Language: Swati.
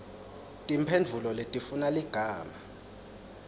timphendvulo letifuna ligama